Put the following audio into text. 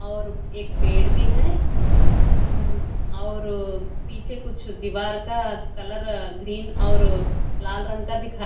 और एक पेड़ भी है हम्म और पीछे कुछ दीवार का कलर ग्रीन और लाल रंग का दिखा--